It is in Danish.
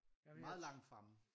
Meget langt fremme